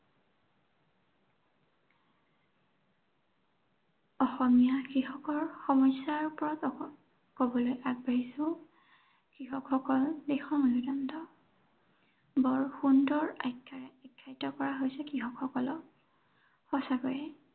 অসমীয়া কৃষকৰ সমস্য়াৰ ওপৰত কবলৈ আগবাঢ়িছো। কৃষকসকল দেশৰ মেৰুদণ্ড। বৰ সুন্দৰ আখ্য়াৰে বিভূষিত কৰা হৈছে কৃষকসকলক। সঁচাকৈয়ে